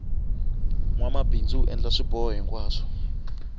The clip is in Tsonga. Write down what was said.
nwamabindzu u endla swiboho hinkwaswo